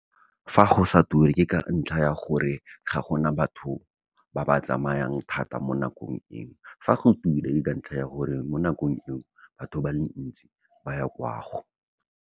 Fa go sa ture, ke ka ntlha ya gore ga gona batho ba ba tsamayang thata mo nakong eo, fa go ture ka ntlha ya gore mo nakong eno batho ba le ntsi ba ya kwa go.